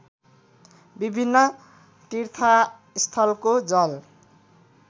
विभिन्न तीर्थस्थलको जल